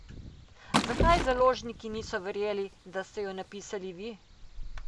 Zakaj založniki niso verjeli, da ste jo napisali vi?